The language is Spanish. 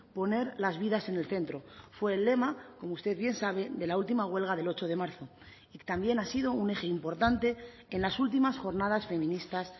poner las vidas en el centro fue el lema como usted bien sabe de la última huelga del ocho de marzo y también ha sido un eje importante en las últimas jornadas feministas